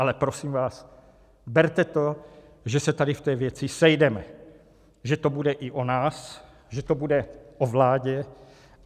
Ale prosím vás, berte to, že se tady v té věci sejdeme, že to bude i o nás, že to bude o vládě.